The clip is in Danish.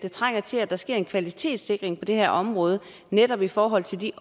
der sker en kvalitetssikring på det her område netop i forhold til de